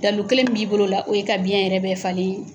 Dalu kelen min b'i bol'o la o ye ka biyɛn yɛrɛ bɛɛ falen